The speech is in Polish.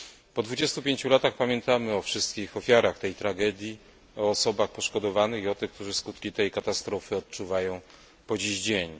Po 25 latach pamiętamy o wszystkich ofiarach tej tragedii, o osobach poszkodowanych i o tych, którzy skutki tej katastrofy odczuwają po dziś dzień.